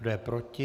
Kdo je proti?